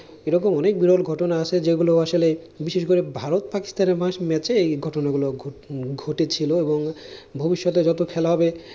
এরকম অনেক বিরল ঘটনা আছে যেগুলো আসলে বিশেষ করে ভারত পাকিস্তানের মা ম্যাচে এই ঘটনাগুলো ঘ ঘটেছিল। এবং ভবিষ্যতে যতো খেলা হবে,